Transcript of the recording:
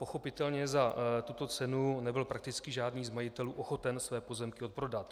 Pochopitelně za tuto cenu nebyl prakticky žádný z majitelů ochoten své pozemky odprodat.